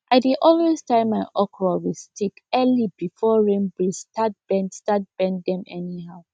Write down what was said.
i dey always tie my okra with stick early before rain breeze start bend start bend dem anyhow